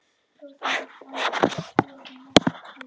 Sagnaþættir úr Húnaþingi eftir Theódór Arnbjörnsson frá Stóra-Ósi